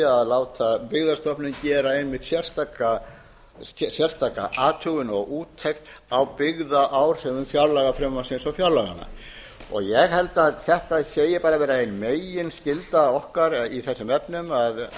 að láta byggðastofnun gera einmitt sérstaka athugun og úttekt á byggðaáhrifum fjárlagafrumvarpsins og fjárlaganna ég held að þetta hafi verið ein meginskylda okkar í þessum efnum þegar við